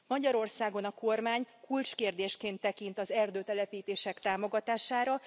Magyarországon a kormány kulcskérdésként tekint az erdőtelepítések támogatására.